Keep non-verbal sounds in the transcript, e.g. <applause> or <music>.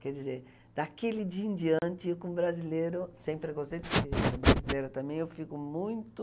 Quer dizer, daquele dia em diante, eu com brasileiro, sempre gostei de <unintelligible> brasileiro também, eu fico muito...